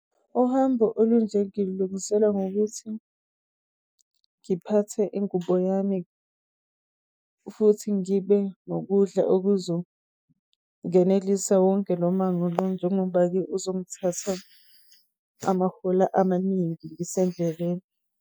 Uhambo olunje ngilungisela ngokuthi ngiphathe ingubo yami, futhi ngibe nokudla okuzongenelisa wonke njengoba-ke uzongithatha amahora amaningi ngisendleleni.